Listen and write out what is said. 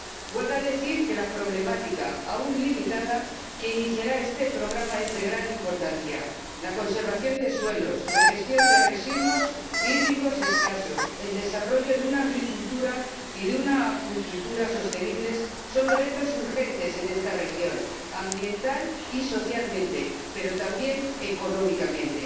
Huelga decir que la problemática, aun limitada, que iniciará este programa es de gran importancia la conservación de suelos, la gestión de residuos hídricos escasos, el desarrollo de una agricultura y de una acuicultura sostenibles son retos urgentes en esta región. Ambiental y socialmente, pero también económicamente.